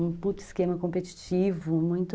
Um puto esquema competitivo, muito...